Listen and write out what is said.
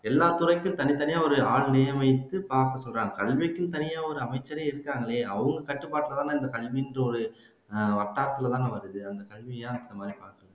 எல்லா துறைக்கும் தனித்தனியா ஒரு வைத்து பாக்கச்சொல்றாங்க கல்விக்குன்னு தனியா ஒரு அமைச்சரே இருக்காங்களே அவங்க கட்டுப்பாட்டுலதானே கல்விக்கு ஒரு அந்த கல்வி ஏன்